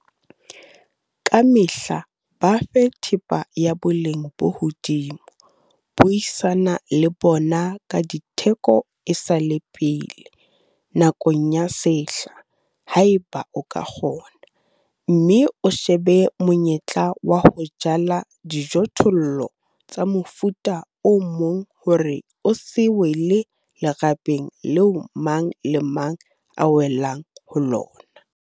Ka mehla ba fe thepa ya boleng bo hodimo, buisana le bona ka ditheko e sa le pele, nakong ya sehla, haeba o ka kgona, mme o shebe monyetla wa ho jala dijothollo tsa mofuta o mong hore o se wele lerabeng leo mang le mang a welang ho lona.